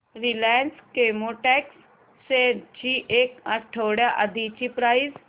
Reliance Chemotex shares ची एक आठवड्या आधीची प्राइस